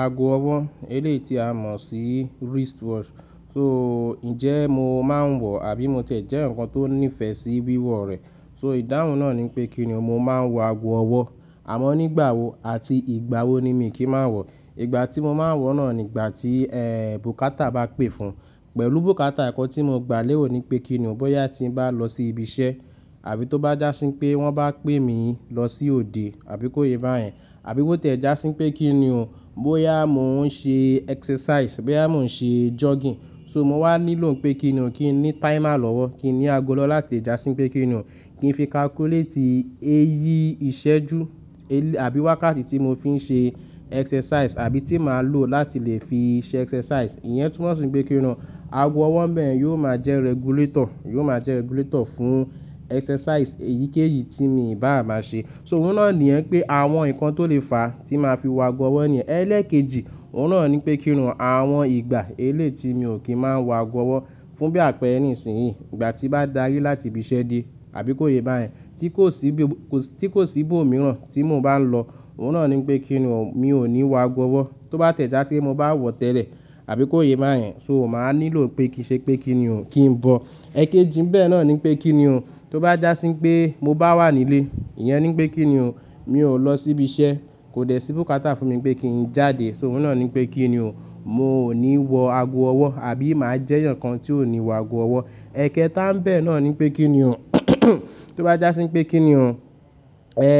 Aago ọwọ́, eléyi ti a mọ̀ sí wristwatch, so ńjẹ́ mo máa ń wọ àbí mo tiẹ̀ jẹ́ eyaǹkan tó níìfẹ̀ sí wíwọ rẹ̀. So ìdáhùn náà ni pé kíni mò ń máa ń wọ aago ọwọ́, àmọ́ nígbà wo àti ìgbà wo ni mí kí máa ń wọ? Ìgbà tí mo máa ń wọ̀ náà ni ìgbà tí, ẹ, bùkátà bá pè fún. Pẹ̀lú bùkátà ìkọ tí mo gbà lérò ni pé kíni bọ́ya tí ń bá lọ sí ibi iṣẹ́ àbí tó bá jásí pé wọ́n bá pè mí lọ sí òde àbí kó yé bá yẹn. Àbí bó tẹ̀ jásí pé kíni bọ́ya mò ń ṣe exercise, bọ́ya mò ń ṣe jogging, so mò máa nílò pé kíni kin ní timer lọ́wọ́, kin ní aago lọ́wọ́ láti lè jásí pé kíni kin fi calculate èyí ìṣẹ́jú elé àbí wákàtí tí mò fi ń ṣe exercise àbí tí màá lò láti lè fi ṣe exercise. Iyẹn tun mọ̀ sí pé kíni aago ọwọ́ ńbẹ yóò máa jẹ́ regulator, yóò máa jẹ́ regulator fún exercise èyíkéyìí tí mi bá máa ṣe. So òun náà ni iyẹn pé àwọn ǹkan tó lè fàá tí màá fi wọ aago ọwọ́ ni. Ẹ̀ẹ́lẹ̀kejì, òun náà ni pé kíni àwọn ìgbà eléyi ti mí ò kí ń máa ń wọ aago ọwọ́ fún bí àpẹẹrẹ nísìnyí. Ìgbà tí bá darí láti ibi iṣẹ́ dé àbí kó yé bá yẹn tí kò sí bí, tí kò sí bó mìíràn tí mò bá nlọ, òun náà ni pé kíni mi ò ní wọ aago ọwọ́. Tó bá tiẹ̀ jási pé mo bá wọ̀ tẹ́lẹ̀ àbí kó yé bá yẹn, so màá nílò pé kí i ṣe pé kíni o? Kin bọ. Ẹ̀kejì ńbẹ náà ni pé kíni tó bá jásí pé mo bá wà nílé, iyẹn ni pé kíni mi ò lọ sí ibi iṣẹ́, kò dẹ̀ sí bùkátà fún mi pé kí n jáde, so òun náà ni pé kíni mò ní wọ aago ọwọ́ àbí màá jẹ́ eyaǹkan tí ò ní wọ aago ọwọ́. Ẹ̀kẹetá ńbẹ náà ni pé kíni tó bá jásí pé kíni, ẹ,